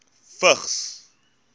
vigs